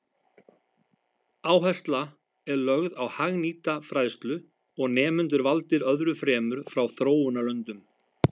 Áhersla er lögð á hagnýta fræðslu og nemendur valdir öðru fremur frá þróunarlöndum.